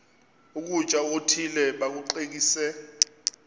ukutya okuthile bakucekise